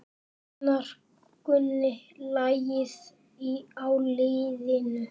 Gunnar kunni lagið á liðinu.